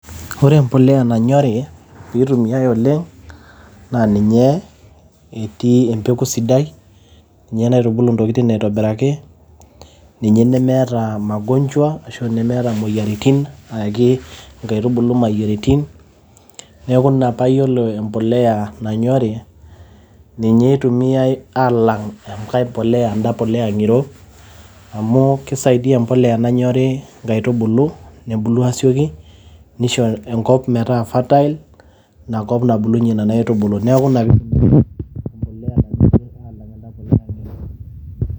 Ore embolea nanyori pee eitumiyai oleng naa ninye etii empeku sidai, ninye naitubulu ntokitin aitobiraki, ninye nemeeta magonjwa ashu nemeeta moyiaritin ayaki nkaitubulu moyiaritin. Niaku ina pee ayiolo empolea nanyori ninye eitumiai aalang enkae , en`da polea ng`iro amu keisaidia empolea nanyori nkaitubulu nebulu aasioki neisho enkop metaa fertile ina kop nabulunyie nena aitubulu. Niaku.